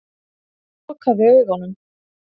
Hann lokaði augunum.